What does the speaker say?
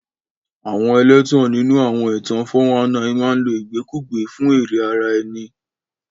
Àwọn ẹlẹ́tàn nínú àwọn ẹ̀tàn 419 máa ń lo ìgbẹ́kẹ̀lé fún èrè ara ẹni.